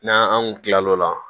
N'an an kun tilal'o la